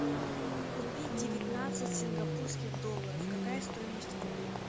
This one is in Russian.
купить девятнадцать сингапурских долларов какая стоимость в рублях